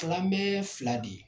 Takanbe ye fila de ye